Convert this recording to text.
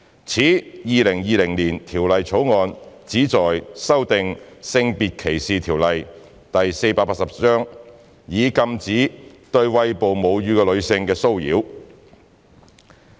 此《條例草案》旨在修訂《性別歧視條例》，以禁止對餵哺母乳的女性的騷擾。